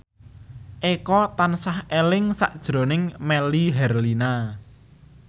Eko tansah eling sakjroning Melly Herlina